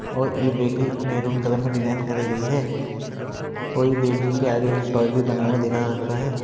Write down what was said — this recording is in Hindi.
और ये बेकरी महरूम कलर में डिजाइन करी गई है और ये बेकरी के आगे एक टॉय भी बना हुआ देखा जा सकता है।